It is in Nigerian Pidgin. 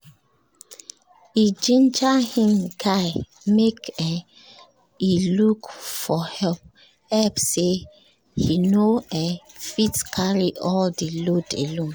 he ginger him guy make um e look for help help say e no um fit carry all the load alone